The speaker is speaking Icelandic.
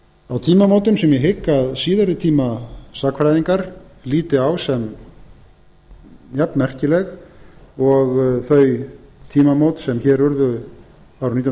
á tímamótum sem ég hygg að síðari tíma sagnfræðingar líti á sem jafnmerkileg og þau tímamót sem hér urðu árið nítján